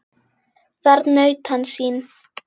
Þar naut hann sín.